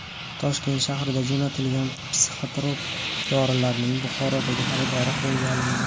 Toshkent shahridan jo‘natilgan psixotrop dorilarning Buxorodagi xaridori qo‘lga olindi.